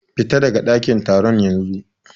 Fita daga ɗakin taron yanzu.